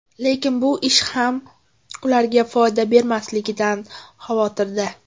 Lekin bu ish ham ularga foyda bermasligidan xavotirda.